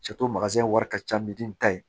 wari ka ca misi ta ye